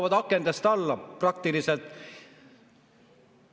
Nad praktiliselt hüppavad akendest alla.